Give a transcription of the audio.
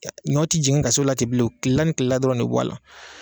Ɲɔw ti jigin ka s'o la ten bilenw kilela ni kilela dɔrɔn de be bɔ a la